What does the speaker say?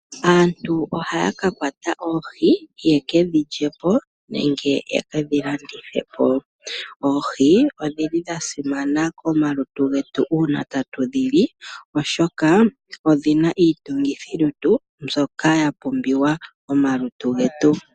Aantu ohaya ka kwata oohi ye kedhi lye po nenge ye kedhi landithe po. Oohi odhili dha simana komalutu getu uuna tatu dhi li oshoka odhina iitungithilutu mbyoka ya pumbiwa momalutu getu.